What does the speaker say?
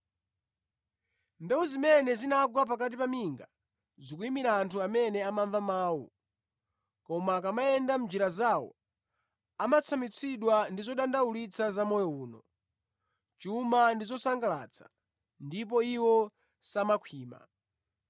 Mbewu zimene zinagwa pakati pa minga zikuyimira anthu amene amamva mawu, koma akamayenda mʼnjira zawo amatsamwitsidwa ndi zodandaulitsa za moyo uno, chuma ndi zosangalatsa, ndipo iwo samakhwima.